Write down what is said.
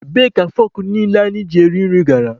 Ebee ka fọkụ niile anyị ji eri nri gara?